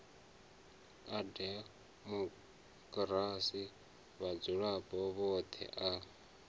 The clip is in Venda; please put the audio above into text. a demokirasi vhadzulapo vhoṱhe a